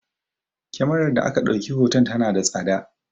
Kemarar da aka ɗauki hoton tana da tsada